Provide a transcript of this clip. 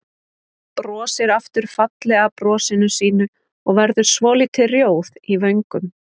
Brosir aftur fallega brosinu sínu og verður svolítið rjóð í vöngum.